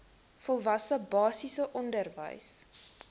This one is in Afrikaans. volwasse basiese onderwys